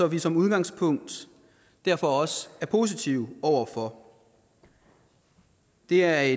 vi som udgangspunkt derfor også er positive over for det er